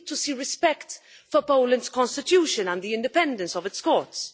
We need to see respect for Poland's constitution and the independence of its courts.